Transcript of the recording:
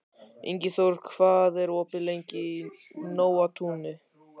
Ingiþór, hvað er opið lengi í Nóatúni?